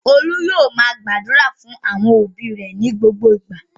Olú yóò máa gbàdúrà fún àwọn òbí rẹ̀ ní gbogbo ìgbà.